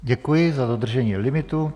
Děkuji za dodržení limitu.